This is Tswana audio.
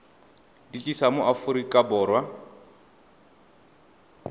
di tlisa mo aforika borwa